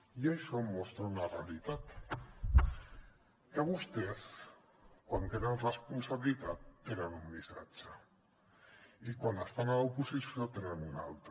i això mostra una realitat que vostès quan tenen la responsabilitat tenen un missatge i quan estan a l’oposició en tenen un altre